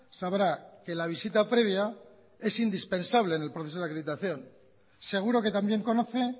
sabrá que la visita previa es indispensable en el proceso de acreditación seguro que también conoce